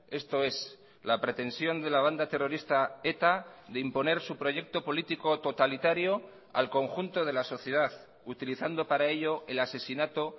esto es la pretensión de la banda terrorista eta de imponer su proyecto político totalitario al conjunto de la sociedad utilizando para ello el asesinato